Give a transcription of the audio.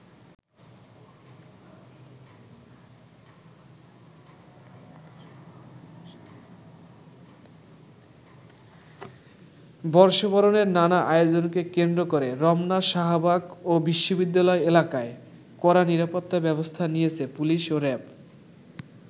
বর্ষবরণের নানা আয়োজনকে কেন্দ্র করে রমনা, শাহবাগ ও বিশ্ববিদ্যালয় এলাকায় কড়া নিরাপত্তা ব্যবস্থা নিয়েছে পুলিশ ও র‍্যাব।